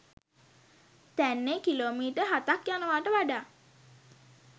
තැන්නේ kilometre හතක් යනවාට වඩා